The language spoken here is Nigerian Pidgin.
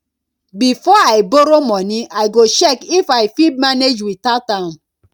before i borrow money i go check if i fit manage without am